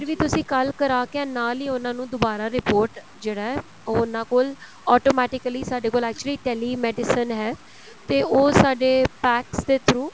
ਵੀ ਤੁਸੀਂ ਕੱਲ ਕਰਾ ਕੇ ਨਾਲ ਹੀ ਉਹਨਾ ਨੂੰ ਦੁਬਾਰਾ report ਜਿਹੜਾ ਏ ਉਹ ਉਹਨਾ ਕੋਲ automatically ਸਾਡੇ ਕੋਲ actually tele medicines ਹੈ ਤੇ ਉਹ ਸਾਡੇ packs ਦੇ through